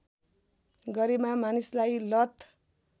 गरेमा मानिसलाई लत